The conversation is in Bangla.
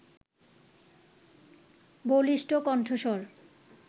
বলিষ্ঠ কণ্ঠস্বর